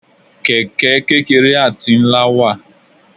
Kẹ̀kẹ́ kékeré àti ńlá wà.